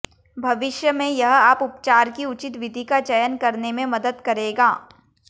भविष्य में यह आप उपचार की उचित विधि का चयन करने में मदद करेगा